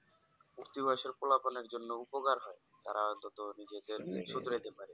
উর্তী বয়েসের পোলা পানের জন্যই উপকার হয় তারা ততো নিজেকে